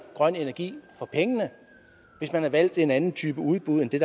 grøn energi for pengene hvis man havde valgt en anden type udbud end det